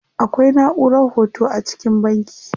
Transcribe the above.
Akwai naʼurar hoto a cikin banki.